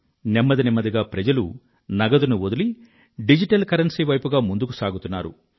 నెమ్మది నెమ్మదిగా ప్రజలు నగదుని వదిలి డిజిటల్ కరెన్సీ వైపుగా ముందుకు సాగుతున్నారు